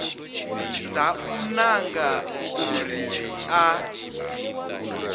dza u nanga uri a